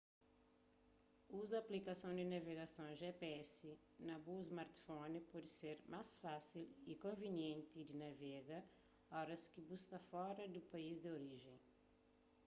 uza aplikason di navegason gps na bu smartphone pode ser forma más fásil y konvinienti di navega oras ki bu sta fora di bu país di orijen